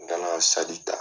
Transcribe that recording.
N ntana saki ta.